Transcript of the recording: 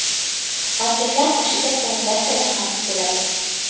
Markazlar qoshida plantatsiyalar ham tuziladi.